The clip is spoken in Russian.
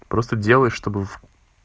просто делай чтобы в